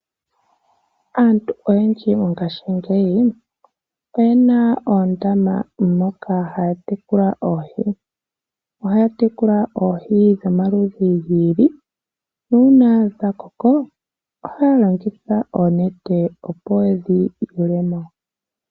Aantu oyendji mongashingeyi oyena oondama moka haya tekula oohi . Ohaya tekula oohi dhomaludhi giili. Uuna dha koko ohaya longitha oonete opo yedhi yuulemo.